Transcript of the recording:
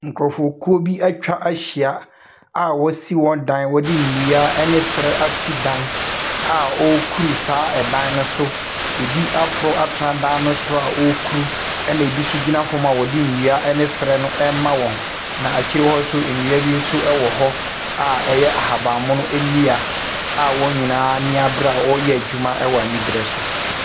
Nkurofokuw bi etwa ahyia a wosi wɔn dan, wɔde nnua ɛne srɛ esi dan a wokuru saa ɛdan no so. Ebi aforo atena dan no soro a wokuru. Ɛna ebi nso gyina fam a wɔde nnua ne srɛ no ɛma wɔn. Na akyire hɔ nso, nnua bi nso ɛwɔ hɔ a ɛyɛ ahabammono nnua a wɔn nyinaa ani abre a wɔyɛ adwuma ɛwɔ ani bre so.